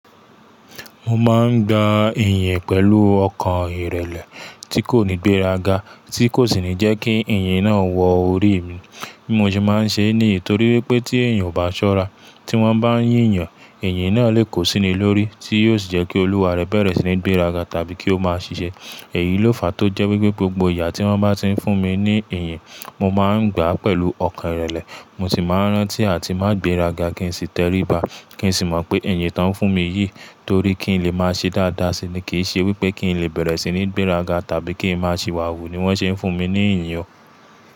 Mo ma gba ẹ̀yán pẹ̀lú okàn ìrẹ̀lẹ̀ tí kò ní gbéraga, tí kò sì ní jẹ́ kí ìyẹn wo orí mí bí mo ṣe máa ń ṣe ní torí wí pé tí èèyàn ò bá ṣọ́ra, tí wọ́n bá ń yíyan, ìyìn náà lè kó síni lórí, tí yóò sì jẹ́ kí olúwa rẹ̀ bẹ̀rẹ̀ sí ní gbéraga tàbí kí ó máa ṣiṣẹ́. Èyí ló fa tó jẹ́ wípé gbogbo ìyà tí wọ́n bá ti ń fún mi ní ìyìn, mo máa ń gba pẹ̀lú ọkàn ìrẹ̀lẹ̀. Mo sì máa ń rántí àti má gbéraga kí n sì tẹríba, kí n sì mọ̀ pé ìyìn tó ń fún mi yìí torí kí n lè máa ṣe dáadáa sí i ni. Kì í ṣe wípé kí n lè bẹ̀rẹ̀ sí ní gbéraga tàbí kí ń máa ṣìwàwù ni wọ́n ṣe ń fún mi ní ìyìn ọ.